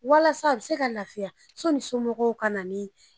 Walasa a be se ka lafiya soni somɔgɔw ka na.